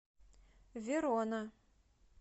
верона